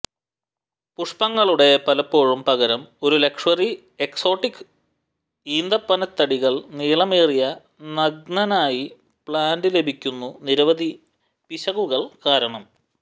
പുഷ്പങ്ങളുടെ പലപ്പോഴും പകരം ഒരു ലക്ഷ്വറി എക്സോട്ടിക് ഈന്തപ്പനത്തടികൾ നീളമേറിയ നഗ്നനായി പ്ലാന്റ് ലഭിക്കുന്നു നിരവധി പിശകുകൾ കാരണം